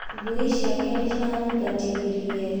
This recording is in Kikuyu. Ngui ciake nĩ ciranyingatithirie.